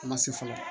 A ma se fɔlɔ